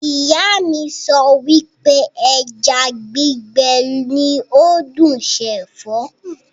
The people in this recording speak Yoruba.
Ìyá mi sọ wípé ẹja gbígbé ní ó dùn ṣe Ẹ̀fọ́